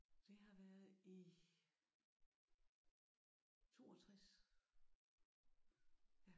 Det har været i 62